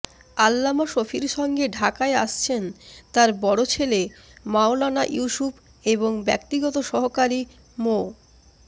আল্লামা শফীর সঙ্গে ঢাকায় আসছেন তাঁর বড় ছেলে মাওলানা ইউসূফ এবং ব্যক্তিগত সহকারী মো